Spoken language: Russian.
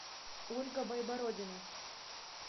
ольга байбородина